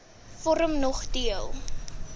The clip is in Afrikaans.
vorm nog deel